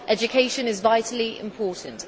Education is vitally important.